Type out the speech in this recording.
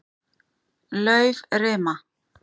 Laufrima